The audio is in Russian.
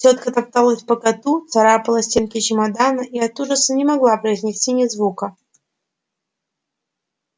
тётка топталась по коту царапала стенки чемодана и от ужаса не могла произнести ни звука